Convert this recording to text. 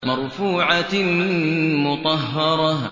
مَّرْفُوعَةٍ مُّطَهَّرَةٍ